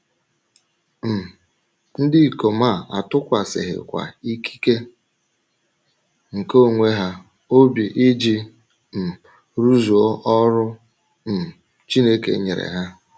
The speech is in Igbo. um Ndị ikom a atụkwasịghịkwa ikike nke onwe ha obi iji um rụzuo ọrụ um Chineke nyere ha.